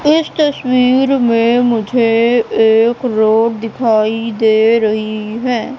इस तस्वीर में मुझे एक रोड दिखाई दे रही है।